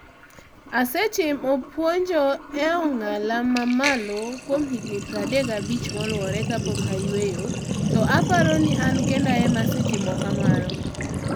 Asetimo puonjo e ong'ala mamalo kuom higni 35 maluore kapok ayueyo to aparo ni an kenda em asetimo kamano